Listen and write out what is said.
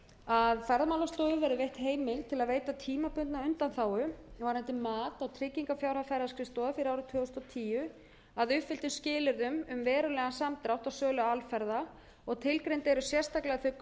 að ferðamálastofu verði veitt heimild til að veita tímabundna undanþágu varðandi mat á tryggingarfjárhæð ferðaskrifstofa fyrir árið tvö þúsund og tíu að uppfylltum skilyrðum um verulegan samdrátt á sölu alferða og tilgreind eru sérstaklega þau gögn sem ferðaskrifstofa verður að